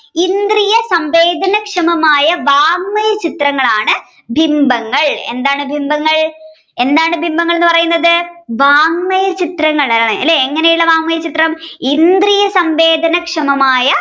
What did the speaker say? ഇന്ദ്രിയസംബീജനക്ഷമമായ വാങ്മയ ചിത്രങ്ങളാണ് ബിംബങ്ങൾ എന്താണ് ബിംബങ്ങൾ എന്താണ് ബിംബങ്ങൾ എന്ന് പറയുന്നത് വാങ്മയചിത്രങ്ങളാണ് അല്ലേ എങ്ങനെയുള്ള വാങ്മയ ചിത്രം ഇന്ദ്രിയസംഭേജനാശമമായ